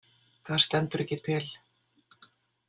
Það stendur ekki til.